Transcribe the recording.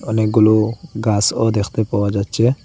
অনেকগুলো গাছও দেখতে পাওয়া যাচ্ছে।